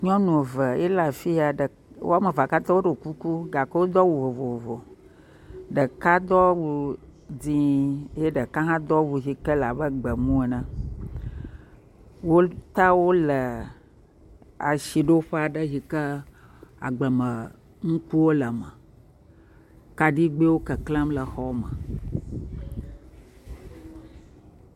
Nynu eve ye le afi ya, woame vea katã woɖɔ kuku gake wodo awu vovovo, ɖeka do awu dzɛ̃, ɖeka hã do awu yi ke le abe gbemu ene, wota wo le asiɖoƒe aɖe yi ke agblemenukuwo le eme, kaɖigbɛwo keklem le xɔa me.